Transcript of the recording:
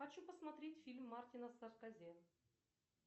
хочу посмотреть фильм мартина скорсезе